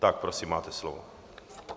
Tak, prosím, máte slovo.